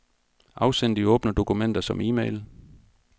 Afsend de åbne dokumenter som e-mail.